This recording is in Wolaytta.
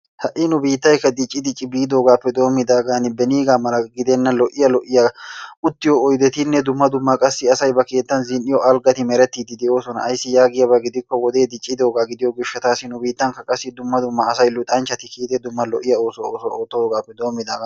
Ha'i nu biittaykka dicci dicci biidoogaappe doomidaagan beniigaa mala gidenna lo'iya lo'iya uttiyo oydettinne qassi dumma dumma asay ba keettan zin'iyo algati merettidi de'oosona. Ayssi yaagiyabaa gidikko wode diccidogaa gishshataasi nu biittanikka qassi dumma dumma asay luxxanchchati dumma dumma lo'yaa oosuwa oottoogaappe doomidaagan.